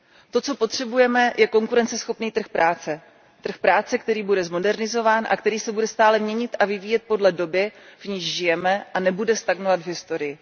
To, co potřebujeme, je konkurenceschopný trh práce. Trh práce, který bude zmodernizován a který se bude stále měnit a vyvíjet podle doby, v níž žijeme, a nebude stagnovat v historii.